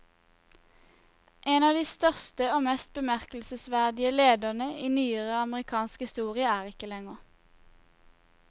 En av de største og mest bemerkelsesverdige ledere i nyere amerikansk historie er ikke lenger.